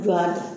Jɔ de